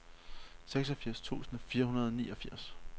seksogfirs tusind fire hundrede og niogfirs